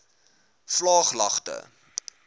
vlaaglagte